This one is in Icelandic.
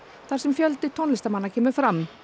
þar sem fjöldi tónlistarmanna kemur fram